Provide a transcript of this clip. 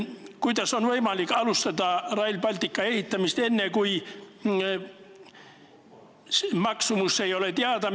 Kuidas on võimalik alustada Rail Balticu ehitamist, kui selle maksumus ei ole teada?